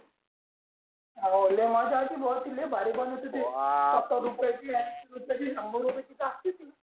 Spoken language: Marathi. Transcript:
हवं लै मझ्या येते भो ते लय भारी बनवते सतार रुएयची आणि कधी शंभर रुपयेची